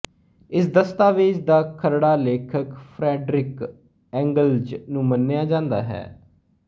ਇਸ ਦਸਤਾਵੇਜ਼ ਦਾ ਖਰੜਾ ਲੇਖਕ ਫਰੈਡਰਿਕ ਏਂਗਲਜ਼ ਨੂੰ ਮੰਨਿਆ ਜਾਂਦਾ ਹੈ